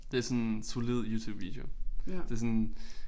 Det sådan solid Youtube video det sådan